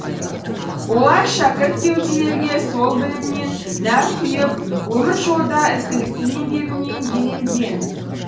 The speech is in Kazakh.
олар шәкірт кеуделерге сол білімнен нәр құйып өмір жолда ізгілікті еңбегімен еленген